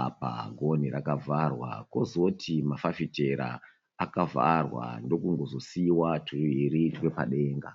Apa gonhi rakavharwa, kozoti mafafitera akavharwa ndokungozosiiwa twuviri twepadenga.